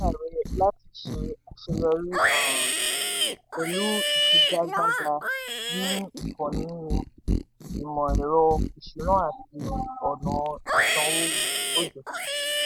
kínni èròǹgbà rẹ láti ṣe àṣeyọrí um pẹ̀lú ìfigagbága ní ìkànnì ìmò ẹ̀rọ ìsúná àti ọ̀nà ìsanwó. ogechi: